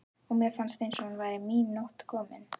og mér fannst eins og nú væri mín nótt komin.